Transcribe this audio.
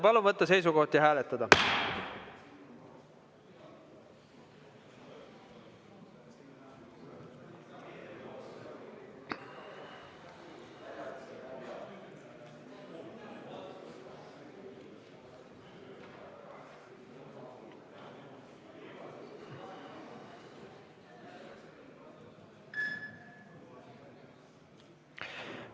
Palun võtta seisukoht ja hääletada!